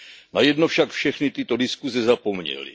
Na jedno však všechny tyto diskuse zapomněly.